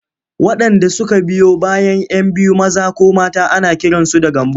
Waɗanda suka biyo bayan 'yan biyu maza ko mata ana kiransu da Gambo.